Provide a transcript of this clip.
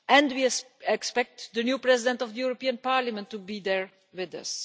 We also expect the new President of the European Parliament to be there with us.